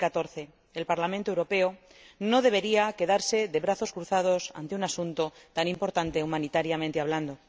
2014. El Parlamento Europeo no debería quedarse de brazos cruzados ante un asunto tan importante humanitariamente hablando.